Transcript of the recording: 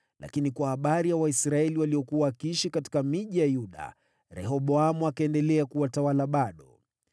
Lakini kwa habari ya Waisraeli waliokuwa wakiishi katika miji ya Yuda, Rehoboamu akaendelea kuwatawala bado.